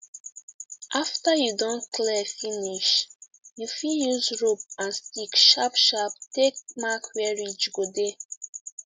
after you don clear finish you fit use rope and stick sharp sharp take mark where ridge go dey